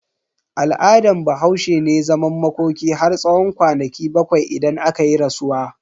Al'adan Bahaushe ne zaman makoki har tsawon kwanaki bakwai idan akayi rasuwa.